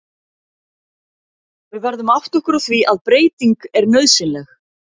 Við verðum að átta okkur á því að breyting er nauðsynleg.